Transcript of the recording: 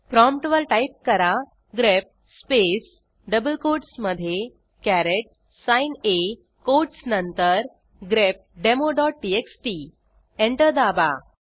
प्रॉम्प्टवर type करा grep spaceडबल कोटसमधे कॅरेट साइन आ कोटस नंतर grepdemoटीएक्सटी एंटर दाबा